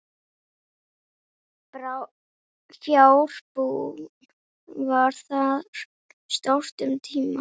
Fjárbú var þar stórt um tíma.